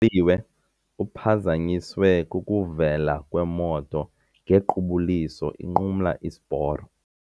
liwe uphazanyiswe kukuvela kwemoto ngequbuliso inqumla isiporo.